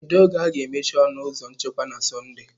Kedu oge a ga-emechi ọnụ ụzọ nchekwa na Sọnde?